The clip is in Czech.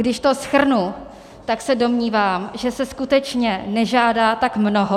Když to shrnu, tak se domnívám, že se skutečně nežádá tak mnoho.